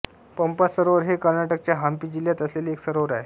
पंपा सरोवर हे कर्नाटकच्या हंपी जिल्ह्यात असलेले एक सरोवर आहे